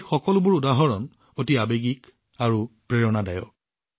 এই সকলোবোৰ উদাহৰণ আৱেগেৰে ভৰাই নহয় অতি প্ৰেৰণাদায়কো